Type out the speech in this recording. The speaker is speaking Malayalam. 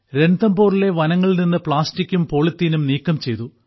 രൺതംബോറിലെ വനങ്ങളിൽ നിന്ന് പ്ലാസ്റ്റിക്കും പോളിത്തീനും നീക്കം ചെയ്തു